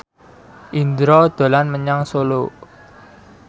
Indro dolan menyang Solo